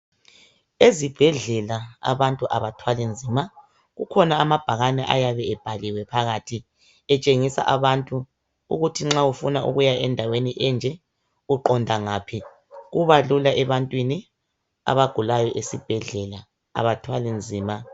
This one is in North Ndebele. Ezibhedlela abantu abathwali nzima kukhona amabhakane ayabe ebhaliwe phakathi etshengisa abantu ukuthi nxa ufuna ukuya endaweni enje uqonda ngaphi kubalula ebantwini abagulayo esibhedlela abathwali nzima.